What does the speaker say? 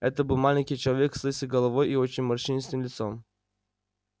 это был маленький человек с лысой головой и очень морщинистым лицом